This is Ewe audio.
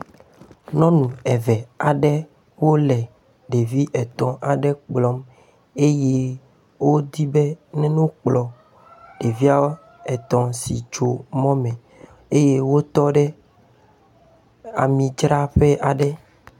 Nyɔnẽu eve aɖe wo le ɖevi etɔ̃ aɖe kplɔm eye wodi be neno kplɔ ɖeviawo etɔ̃ si tso mɔ me eye wotɔ ɖe amidzraƒe aɖe.